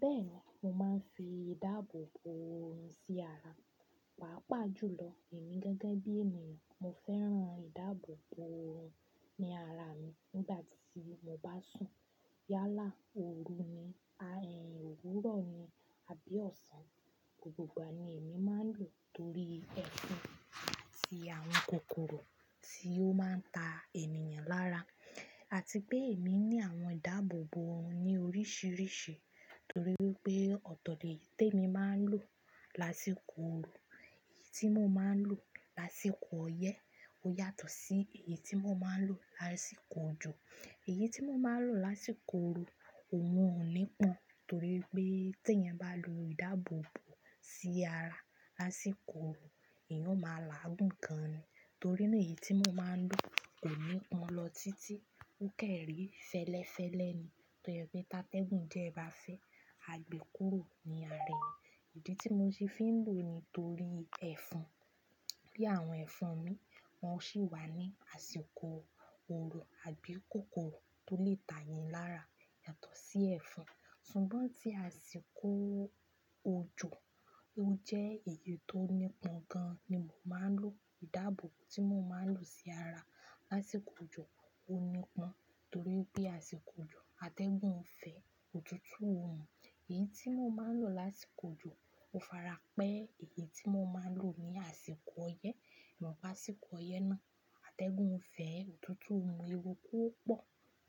Bẹ́ẹ̀ni, mo máa ń fi ìdáàbòbò ọ̀rún sí ara, pàápàá jùlọ èmi gẹ́gẹ́ bí ènìyàn mo fẹ́ràn ìdáàbòbò ọ̀rún ní ara mi nígbà tí mo bá sùn. Yálà, ooru ni, òwúrọ̀ ni àbí ọ̀sán gbogbo ìgbà ni èmi máa ń lò torí ẹfan àti àwọn kòkòrò tí ó máa ń ta èèyàn lára àti pé èmi ní àwọn ìdáàbòbò ọ̀hún ní oríṣìíríṣìí torí pé ọ̀tọ̀ọ̀tọ̀ èyí tí èmi máa ń lò lásìkò ooru, èyí tí mo máa ń lò lásìkò ọyẹ́ ó yàtọ̀ sí èyí tí mo máa ń lò lásìkò òjò. Èyí tí mo máa ń lò lásìkò ooru kò mú ọ̀nì pọn torí pé tí ẹ bá lo ìdáàbòbò sí ara lásìkò ooru ìyẹn ó máa làágùn gan ni torí ní èyí tí mo máa ń lò kò ní pọn lọ títí ó kéré fẹ́lẹ́fẹ́lẹ́ ni tó yẹ pé táteégùn diẹ ẹ bá fẹ́, a gbé e kúrò ní ara ẹ. Èyí tí mo ti fi ń lò ni torí ẹfan. Bí àwọn ẹfan mi wọn sì wà ní àsìkò ooru àbí kòkòrò tó lè ta èèyàn lára yàtọ̀ sí ẹfan. Ṣùgbọ́n tí àsìkò òjò ó jẹ́ èyí tó ní pọn gan ni mo máa ń lò. Ìdáàbò tí mo máa ń lò sí ara lásìkò òjò ó ní pọn torí pé àsìkò òjò atẹ́gùn ún fẹ́, òtútù ó mú. Èyí tí mo máa ń lò lásìkò òjò ó farapẹ́ èyí tí mo máa ń lò ní àsìkò ọyẹ́. Ìmọ̀ bí àsìkò ọyẹ́ náà atẹ́gùn ún fẹ́, òtútù ó mú, ewu kó pọ̀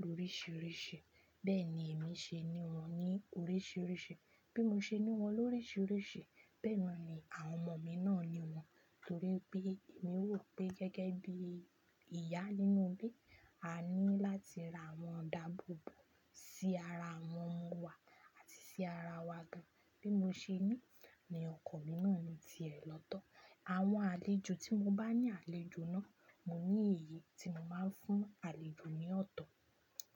ló ríṣìíríṣìí bẹ́ẹ̀ ni èmi ṣe ní wọn ní oríṣìíríṣìí. Bí mo ṣe ní wọn ló ríṣìíríṣìí bẹ́ẹ̀ ni àwọn ọmọ mi náà ní wọn torí pé èmi wò pé gẹ́gẹ́ bí ìyá nínú ilé, a ní láti ra àwọn ìdáàbòbò sí ara àwọn ọmọ wa àti sí ara wa gan. Bí mo ṣe ní ni ọkọ mi náà ni ti è lọ́tọ̀. Àwọn àlejò tí mo bá ní àlejò náà, mo ní èyí tí mo máa ń fún àlejò ní ọ̀tọ̀.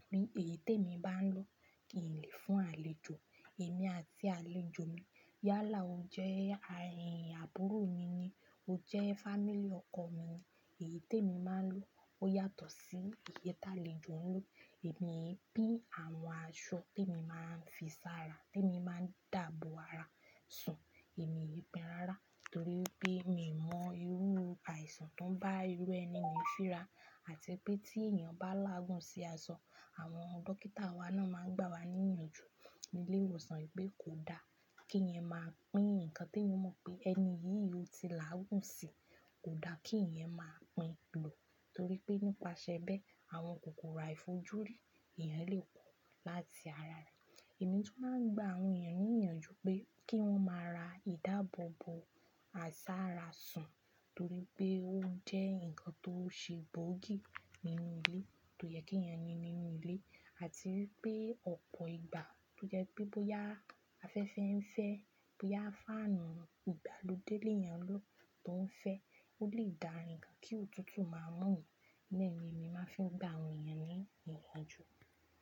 Bí èyí tí èmi bá ń lò kì í le fún àlejò. Èmi àti àlejò mi, yálà ó jẹ́ àbúrò mi ni, ó jẹ́ fámíly lọkọ mi ni. Èyí tí èmi máa ń lò ó yàtọ̀ sí èyí tí àlejò ń lò. Èmi bí àwọn aṣọ tí mo máa ń fi sára tí mo máa ń dààbò ara sùn, èmi n pín rárá torí pé mi mọ irú àìsàn tó bá irú ẹni mi síra àti pé tí èèyàn bá làágùn sí aṣọ àwọn dókítà wa náà máa ń gbà wá ní ìyanjú nílé ìwòsàn pé kò da kí ẹyan máa pín ǹkan tí ẹ mọ̀ pé ẹni yìí yóò ti làágùn sí, kò da kí ǹyẹn máa pín lò torí pé nípasẹ̀ bẹ́ẹ̀ àwọn kòkòrò àìfojúrí èèyàn lè pọ̀ láti ara rẹ̀. Èmi tu máa ń gba àwọn èèyàn ní ìyanjú pé kí wọ́n máa ra ìdáàbòbò àsára sùn torí pé ó jẹ́ ǹkan tó ṣe bóògì nínú ilé tó yẹ kí èèyàn ni nínú ilé àti pé ọ̀pọ̀ ìgbà tó jẹ́ pé bóyá afẹ́fẹ́ ń fẹ́, bóyá fáànù ìgbàlódé ni èèyàn ń lò tó ń fẹ́ ó lè dá ǹkan kí òtútù máa mú ẹ. Bẹ́ẹ̀ ni èmi máa fi ń gba àwọn èèyàn ní ìyanjú.